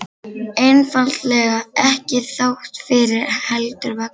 Einfaldlega: ekki þrátt fyrir, heldur vegna.